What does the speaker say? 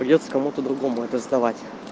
придётся кому то другому это сдавать